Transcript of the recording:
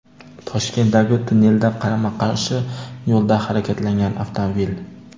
Toshkentdagi tunnelda qarama-qarshi yo‘lda harakatlangan avtomobil .